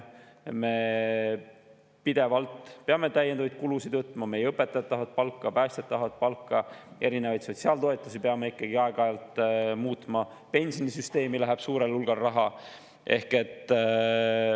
Me pidevalt peame täiendavaid kulusid: meie õpetajad tahavad palka, päästjad tahavad palka, erinevaid sotsiaaltoetusi peame ikkagi aeg‑ajalt muutma, pensionisüsteemi läheb suurel hulgal raha.